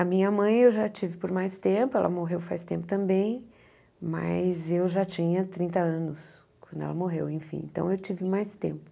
A minha mãe eu já tive por mais tempo, ela morreu faz tempo também, mas eu já tinha trinta anos quando ela morreu, enfim, então eu tive mais tempo.